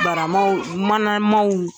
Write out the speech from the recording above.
Baramanw don namanw don.